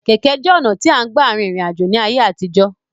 Kẹ̀kẹ́ jẹ́ ọ̀nà tí à ń gbà rin ìrìn àjò ní ayé àtijó.